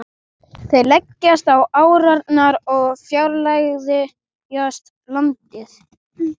Þeir leggjast á árarnar og fjarlægjast landið.